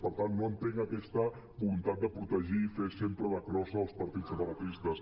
per tant no entenc aquesta voluntat de protegir fer sempre de crossa als partits separatistes